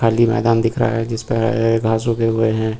खाली मैदान दिख रहा है जिस पर घास उगे हुए हैं।